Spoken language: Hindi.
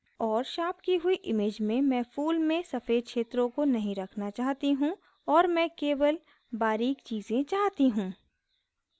और शार्प की हुई image में मैं फूल में सफ़ेद क्षेत्रों को नहीं रखना चाहती हूँ और मैं केवल बारीक़ चीज़ें चाहती हूँ